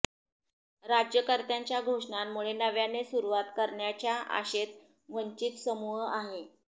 राज्यकर्त्यांच्या घोषणांमुळे नव्याने सुरुवात करण्याच्या आशेत वंचित समूह आहे